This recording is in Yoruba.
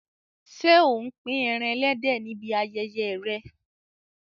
Ṣé ò ń pín ẹran ẹlẹ́dẹ̀ níbi ayẹyẹ rẹ?